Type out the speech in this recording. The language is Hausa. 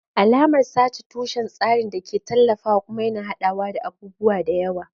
Alamar sa ce tushen tsarin da ke tallafawa kuma yana haɗawa da abubuwa da yawa.